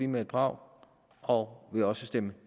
med et brag og vil også stemme